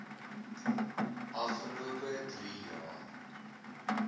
afgelope drie jaar